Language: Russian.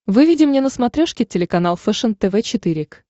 выведи мне на смотрешке телеканал фэшен тв четыре к